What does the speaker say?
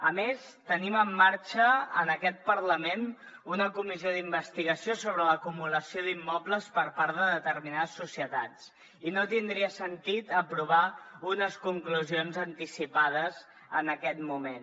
a més tenim en marxa en aquest parlament una comissió d’investigació sobre l’acumulació d’immobles per part de determinades societats i no tindria sentit aprovar unes conclusions anticipades en aquest moment